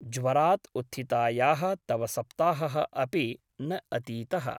ज्वरात् उत्थितायाः तव सप्ताहः अपि न अतीतः ।